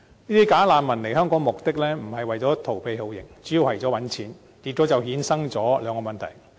這些"假難民"來香港的目的，並不是為逃避酷刑，而主要是為賺錢，結果就衍生出兩個問題。